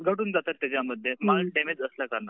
घटून जातात त्याच्यामध्ये माल डॅमेज असल्या कारणानं